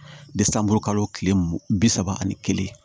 kalo tile mugan bi saba ani kelen